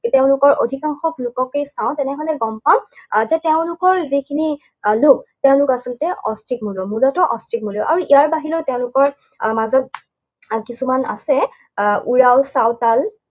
তেওঁলোকৰ অধিকাংশ লোককেই চাওঁ, তেনেহলে গম আহ পাম যে তেওঁলোকৰ যিখিনি আহ লোক, তেওঁলোক আচলতে অষ্ট্ৰিক মূলৰ। মূলতঃ অষ্ট্ৰিক মূলৰ। আৰু ইয়াৰ বাহিৰেও তেওঁলোকৰ আহ মাজত আহ কিছুমান আছে, উৰাও, চাওতাল